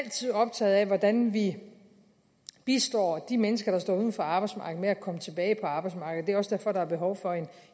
optaget af hvordan vi bistår de mennesker der står uden for arbejdsmarkedet med at komme tilbage på arbejdsmarkedet det er også derfor der er behov for